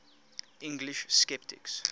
english sceptics